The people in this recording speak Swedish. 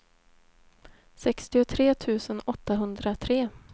sextiotre tusen åttahundratre